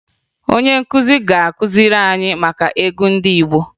Onye nkụzi ga-akụziri anyị maka egwu ndị Igbo